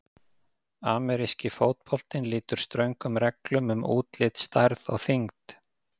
Ameríski fótboltinn lýtur ströngum reglum um útlit, stærð og þyngd.